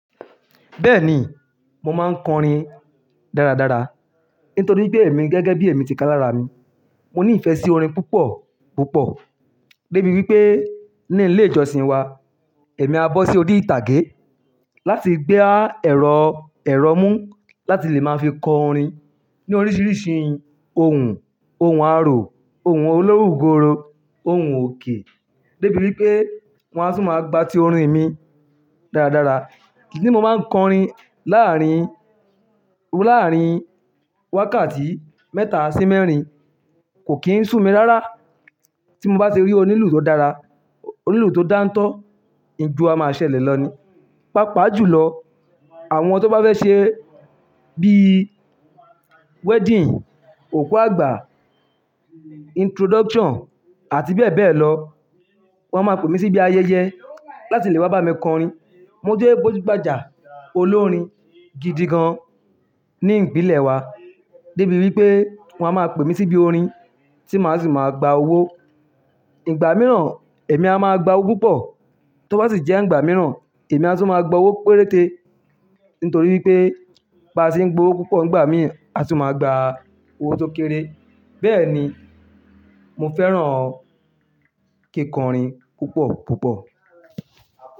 Bẹ́ẹ̀ni, mo máa ń kọrin dáradára. Nítorí pé èmi gẹ́gẹ́ bí èmi ti ká lára mi, mo ní ìfẹ́ sí orin púpọ̀púpọ̀. Débi wípé ní ilé ìjọsìn wa, èmi á bọ́ sí odi ìtàgé láti gbé ẹ̀rọ, ẹ̀rọ mú láti lè máa fi kọ orin ní oríṣiríṣi ohùn, ohùn aró, ohùn olóògùrò, ohùn òkè. Débi wípé wọ́n á tún máa gba ti orin mi dáradára. Idí mo máa ń kọrin láàárín, láàárín wákàtí mẹ́ta sí mẹ́rin. Kò kì ń sú mi rárá. Tí mo bá ṣe rí onílù tó dára, onílù tó dáńtọ́, ìjo a máa ṣẹlẹ̀ lọ ni. Pápàjùlọ, àwọn tó bá fẹ́ ṣe bí wedding, òkú àgbà, introduction àti bẹ́ẹ̀ bẹ́ẹ̀ lọ, wọ́n máa pè mí síbi ayẹyẹ láti lè wá bá mi kọ orin. Mo jẹ́ gbójúbàjà olórin gidi gan ní ìpínlẹ̀ wa. Débi wípé wọ́n á máa pè mí síbi orin tí màá sì máa gba owó. Igba mìíràn èmi á máa gba owó púpọ̀. Tó bá sì jẹ́ ìgbà mìíràn èmi á tún máa gba owó péréte. Nítorí wípé bá ṣe ń gbowó púpọ̀ ìgbà míì, á sì máa gba owó tó kéré. Bẹ́ẹ̀ni, mo fẹ́ràn kíkọrin púpọ̀púpọ̀